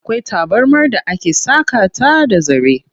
Akwai tabarmar da ake saƙa ta da zare.